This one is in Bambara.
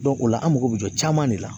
o la an mako bɛ jɔ caman de la